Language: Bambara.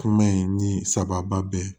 Kuma in ni sababa bɛɛ